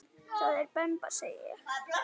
Það er demba segi ég.